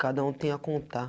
Cada um tem a contar.